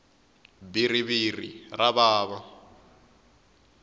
bhiriviri ra vava